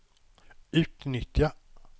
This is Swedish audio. utnyttja